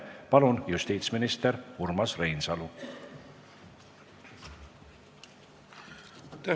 Palun, justiitsminister Urmas Reinsalu!